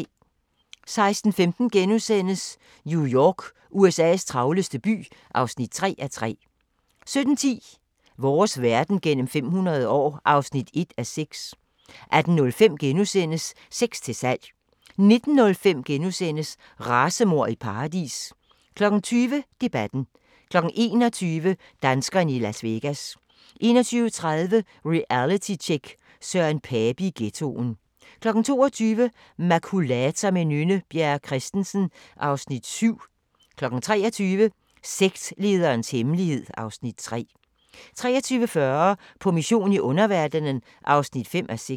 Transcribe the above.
16:15: New York – USA's travleste by (3:3)* 17:10: Vores verden gennem 500 år (1:6) 18:05: Sex til salg * 19:05: Racemord i paradis * 20:00: Debatten 21:00: Danskerne i Las Vegas 21:30: Realitytjek: Søren Pape i ghettoen 22:00: Makulator med Nynne Bjerre Christensen (Afs. 7) 23:00: Sektlederens hemmelighed (Afs. 3) 23:40: På mission i underverdenen (5:6)